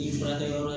Furakɛ yɔrɔ